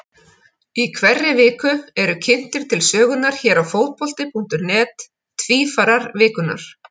Í hverri viku eru kynntir til sögunnar hér á Fótbolti.net Tvífarar vikunnar.